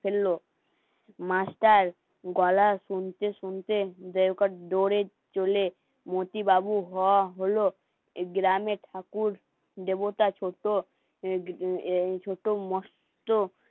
ফেললো মাস্টার গলা আসছে শুনতে শুনতে দেহকার ডোরে চলে মতি বাবু হ হলো এই গ্রামের ঠাকুর দেবতা ছোট এই তো মস্ত